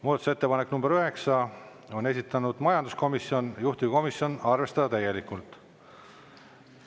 Muudatusettepanek nr 9, on esitanud majanduskomisjon, juhtivkomisjon: arvestada täielikult.